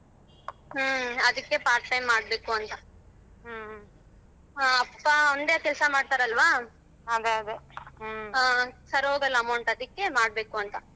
ಹ್ಮ ಅದಿಕ್ಕೆ part time ಮಾಡ್ಬೇಕು ಅಂತ ಅಪ್ಪ ಒಂದೇ ಕೆಲಸ ಮಾಡತರಲ್ವ ಹ ಸರೋಗಲ್ಲ amount ಅದಿಕ್ಕೆ ಮಾಡಬೇಕಂತ.